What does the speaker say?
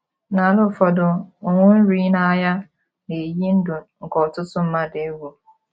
N’ala ụfọdụ, ụnwụ nri na agha na - eyi ndụ nke ọtụtụ mmadụ egwu.